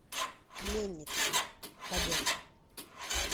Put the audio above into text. пленница побег